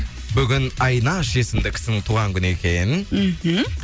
бүгін айнаш есімді кісінің туған күні екен мхм